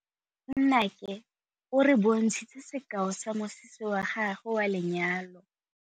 Nnake o re bontshitse sekaô sa mosese wa gagwe wa lenyalo.